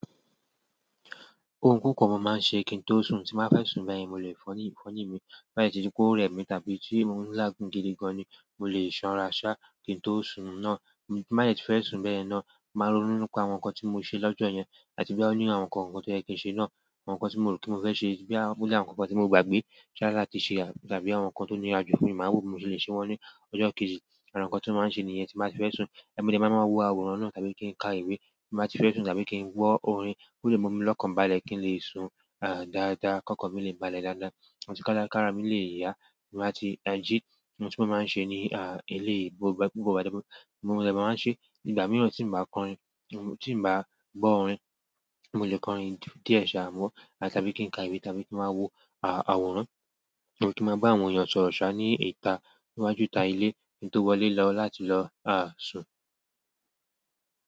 Ohun púpọ̀ mo máa ń ṣe kí n tó sùn tí n bá fẹ́ sùn bẹ́yẹn, mo lè fọyín mí, bá yẹ́ tí kò rẹ́ mi tàbí tí mò ń làágùn gidi gan-an ni, mo lè ṣanra ṣáá kí n tó sùn oorun náà. Bí n bá dẹ̀ tí fẹ́ sùn bẹ́yẹn náà, màá rónú nípa àwọn nǹkan tí mo ṣe lọ́jọ́ yẹn àti bóyá ó ní àwọn nǹkan kọ̀ọ̀kan tó yẹ kí n ṣe náà, àwọn nǹkan tí mo rò pé mo fẹ́ ṣe, bóyá ó ní àwọn nǹkan kan tí mo gbàgbé jáde láti ṣe tàbí àwọn nǹkan tó nira ju fún mi, màá wò bí mo ṣe le ṣe wọ́n ní ọjọ́ kejì. Ara nǹkan tí mo máa ń ṣe nìyẹn tí n bá ti fẹ́ sùn. Mo dẹ̀ máa máa wo àwòrán náà tàbí kí n ka ìwé tí n bá ti fẹ́ sùn tàbí kí n gbọ́ orin kó lè mú mi lọ́kàn balẹ̀ kí n lè sùn dáadáa, kọ́kàn mi lè balẹ̀ dáadáa, ọ̀tíkára mi lè yá bí n bá ti tají ohun tí mo máa ń ṣe ní ilé gbogbo ọdẹ máa ń ṣe. Ìgbà mìíràn tí ǹ bá kọrin, tí ǹ bá gbọ́ orin, mo lè kọrin díẹ̀ ṣá, àmọ́ tàbí kí n ka ìwé tàbí kí n máa wo àwòrán tàbí kí ń màá bá àwọn èèyàn sọ̀rọ̀ ṣáá ní ìta níwájú ìta ilé kí n tó wọlé lọ láti lọ sùn.